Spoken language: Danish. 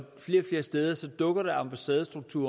flere steder dukker der ambassadestrukturer